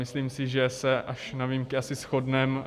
Myslím si, že se až na výjimky asi shodneme.